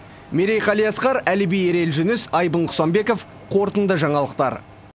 мерей қалиасқар әліби ерел жүніс айбын құсанбеков қорытынды жаңалықтар